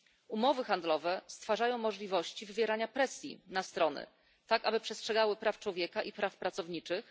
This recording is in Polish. Umowy handlowe stwarzają możliwości wywierania presji na strony, tak aby przestrzegały praw człowieka i praw pracowniczych.